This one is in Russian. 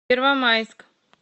первомайск